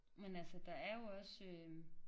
Men altså der er jo også øh